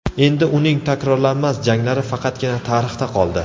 Endi uning takrorlanmas janglari faqatgina tarixda qoldi.